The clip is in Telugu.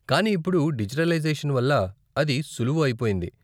కానీ ఇప్పుడు డిజిటలైజేషన్ వల్ల అది సులువు అయిపోయింది.